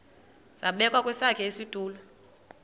zabekwa kwesakhe isitulo